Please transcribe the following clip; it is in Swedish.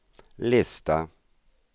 lista